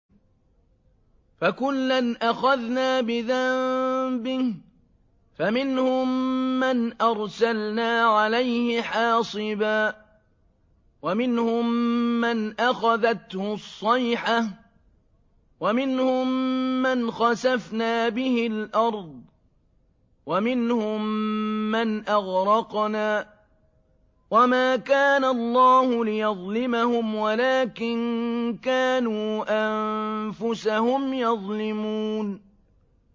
فَكُلًّا أَخَذْنَا بِذَنبِهِ ۖ فَمِنْهُم مَّنْ أَرْسَلْنَا عَلَيْهِ حَاصِبًا وَمِنْهُم مَّنْ أَخَذَتْهُ الصَّيْحَةُ وَمِنْهُم مَّنْ خَسَفْنَا بِهِ الْأَرْضَ وَمِنْهُم مَّنْ أَغْرَقْنَا ۚ وَمَا كَانَ اللَّهُ لِيَظْلِمَهُمْ وَلَٰكِن كَانُوا أَنفُسَهُمْ يَظْلِمُونَ